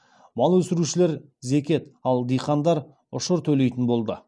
мал өсірушілер зекет ал диқандар ұшыр төлейтін болды